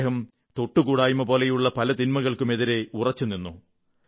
അദ്ദേഹം തൊട്ടുകൂടായ്മ പോലെയുള്ള പല തിന്മകൾക്കുമെതിരെ ഉറച്ചു നിന്നു